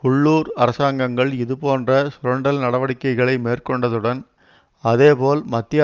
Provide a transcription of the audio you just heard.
உள்ளூர் அரசாங்கங்கள் இதுபோன்ற சுரண்டல் நடவடிக்கைகளை மேற்கொண்டதுடன் அதேபோல் மத்திய